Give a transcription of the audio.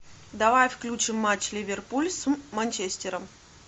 давай включим матч ливерпуль с манчестером